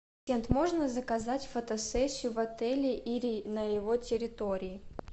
можно заказать фотосессию в отеле или на его территории